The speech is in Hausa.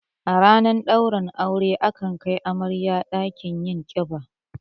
A ranar ɗaurin aure ana kai amarya ɗakin yin ƙiba